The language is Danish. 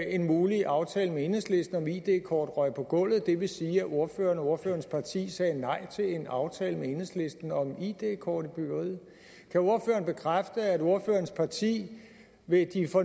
en mulig aftale med enhedslisten om id kort røg på gulvet det vil sige at ordføreren og ordførerens parti sagde nej til en aftale med enhedslisten om id kort i byggeriet kan ordføreren bekræfte at ordførerens parti ved de